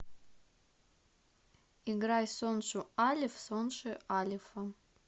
играй соншу алеф сонши алефа